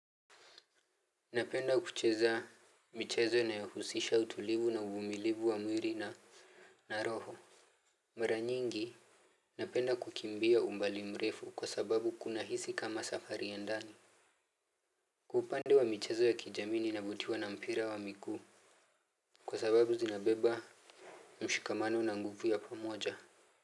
Napenda kucheza mchezo inayohusisha utulivu na uvumilivu wa mwili na roho. Mara nyingi napenda kukimbia umbali mrefu kwa sababu kuna hisi kama safari ya ndani. Kwa upande wa mchezo ya kijami nina vutiwa na mpira wa miguu. Kwa sababu zinabeba mshikamano na nguvu ya pamoja.